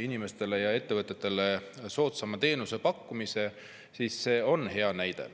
inimestele ja ettevõtetele soodsama teenuse pakkumisest, siis see on hea näide.